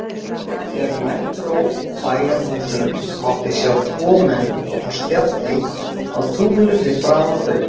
Þegar nær dró bæjarhúsunum mátti sjá tvo menn á spjalli á túninu fyrir framan þau.